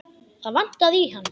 Það vantaði í hann.